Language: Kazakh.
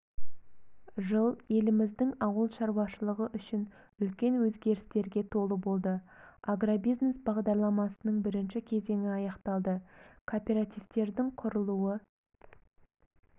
жыл еліміздің ауыл шаруашылығы үшін үлкен өзгерістерге толы болды агробизнес бағдарламасының бірінші кезеңі аяқталды кооперативтердің құрылуы